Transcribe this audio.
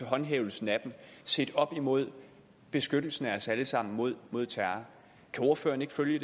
håndhævelsen af dem sat op imod beskyttelsen af os alle sammen mod mod terror kan ordføreren ikke følge